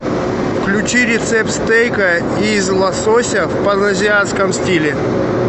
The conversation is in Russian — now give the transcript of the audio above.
включи рецепт стейка из лосося в паназиатском стиле